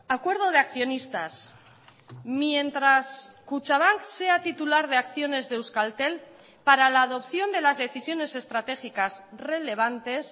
acuerdo de accionistas mientras kutxabank sea titular de acciones de euskaltel para la adopción de las decisiones estratégicas relevantes